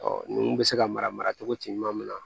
nunnu bɛ se ka mara cogo ti ɲuman mun na